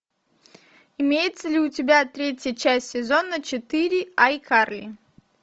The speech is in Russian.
имеется ли у тебя третья часть сезона четыре айкарли